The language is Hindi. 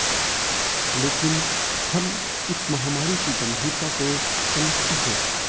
लेकिन हम इस महामारी की गंभीरता को समझते हैं